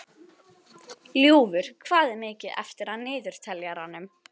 Ljúfur, hvað er mikið eftir af niðurteljaranum?